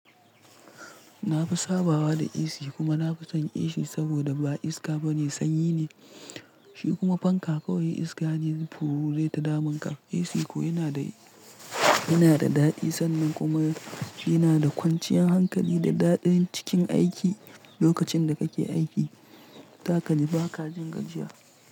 Na fi sabawa da AC kuma na fi son AC saboda ba iska ba ne, sanyi ne, shi kuma fanka kawai iska ne fuu zaita damunka. AC ko yana da, yana da daɗi sannan kuma yana da kwanciyar hankali da daɗin cikin aiki lokacin da kake aiki. Za kaji ba ka jin gajiya.